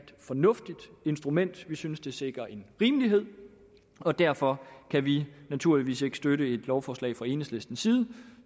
fornuftigt instrument vi synes det sikrer en rimelighed og derfor kan vi naturligvis ikke støtte et lovforslag fra enhedslistens side